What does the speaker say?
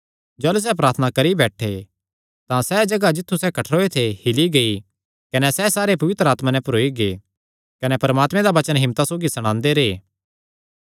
जाह़लू सैह़ प्रार्थना करी बैठे तां सैह़ जगाह जित्थु सैह़ कठ्ठरोयो थे हिल्ली गेई कने सैह़ सारे पवित्र आत्मा नैं भरोई गै कने परमात्मे दा वचन हिम्मता सौगी सणांदे रैह्